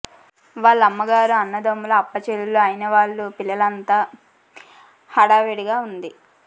వాళ్ళ అమ్మగారు అన్నదమ్ములూ అప్పచెల్లెళ్లు అయినవాళ్ళ పిల్లలూ అంతా హడావుడి గా వుంది